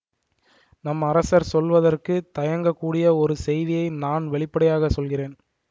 நம் அரசர் சொல்வதற்கு தயங்கக்கூடிய ஒரு செய்தியை நான் வெளிப்படையாகச் சொல்கிறேன்